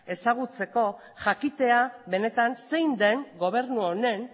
ezagutzeko jakitea benetan zein den gobernu honen